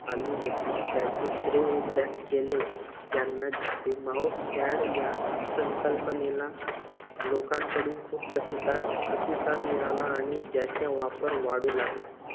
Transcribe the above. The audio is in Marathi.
आली होती ज्याचे श्रेय केले, याना जाते mouse pad या संकल्पनेला लोकांकडून खूप पसिद्धांत प्रतिसाद मिळाला आणि ज्याचा वापर वाढू लागला.